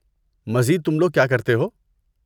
مزید تم لوگ کیا کرتے ہو؟